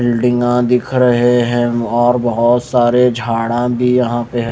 बील्डिंगा दिख रहे हैं और बहुत सारे झाड़ा भी यहां पे है।